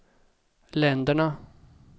länderna